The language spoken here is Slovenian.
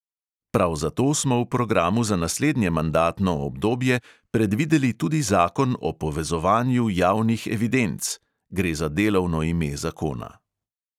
Prav zato smo v programu za naslednje mandatno obdobje predvideli tudi zakon o povezovanju javnih evidenc (gre za delovno ime zakona).